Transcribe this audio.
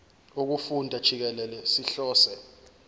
wokufunda jikelele sihlose